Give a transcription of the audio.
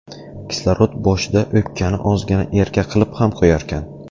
Kislorod boshida o‘pkani ozgina erka qilib ham qo‘yarkan.